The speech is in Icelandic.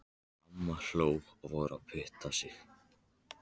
Amma hló og fór að punta sig.